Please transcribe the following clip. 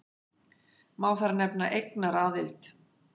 Má þar nefna eignaraðild.